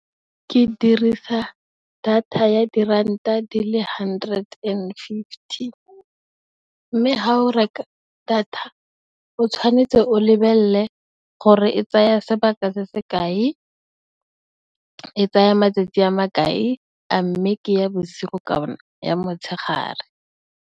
Ke dirisa data ya diranta di le hundred and fifty. Mme, ha o reka data o tshwanetse o lebelle gore e tsaya sebaka se se kae, e tsaya matsatsi a makae, a mme, ke ya bosigo kana ya motshegare.